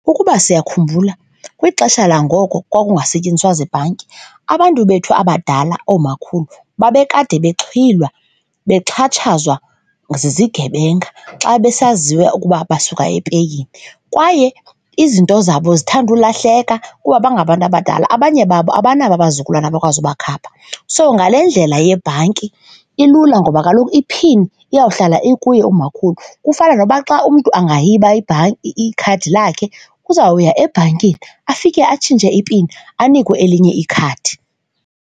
Ukuba siyakhumbula kwixesha langoko kwakungasetyenziswa zibhanki abantu bethu abadala, oomakhulu babekade bexhwilwa, bexhatshazwa zizigebenga xa besaziwa ukuba basuka epeyini. Kwaye izinto zabo zithanda ulahleka kuba bangabantu abadala abanye babo abanabo abazukulwana abakwazi ubakhapha. So, ngale ndlela yebhanki ilula ngoba kaloku i-pin iyawuhlala ekuye umakhulu, kufana nokuba xa umntu angayiba ibhanki, ikhadi lakhe uzawuya ebhankini afike atshintshe ipini anikwe elinye ikhadi.